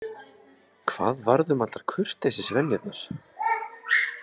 Hvað varð um allar kurteisisvenjurnar?